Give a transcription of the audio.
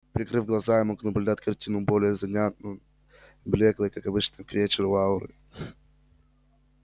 прикрыв глаза я мог наблюдать картину более занятную блёклые как обычно к вечеру ауры